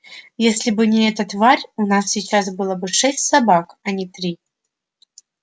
если бы не эта тварь у нас сейчас было бы шесть собак а не три